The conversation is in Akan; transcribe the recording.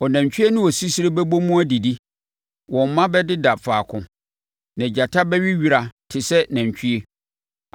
Ɔnantwie ne sisire bɛbɔ mu adidi, wɔn mma bɛdeda faako, na gyata bɛwe wira te sɛ nantwie.